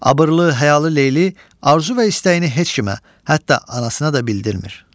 Abırlı, həyalı Leyli arzu və istəyini heç kimə, hətta anasına da bildirmir.